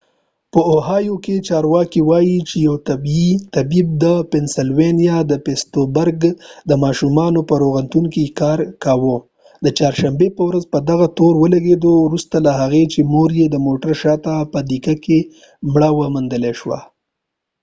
په اوهایو کې چارواکي وايي چي یو طبيب چې د پنسلوانیا د پیټسبورګ د ماشومانو په روغتون کې يې کار کاوه د چارشنبې په ورځ به په هغه تور ولګېد وروستو له هغې چي مور يي د موټر شا ته په ډيګئ کي مړه وموندل شوه